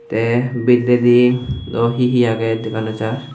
tey bidredi dw hihi agey dega nw jar.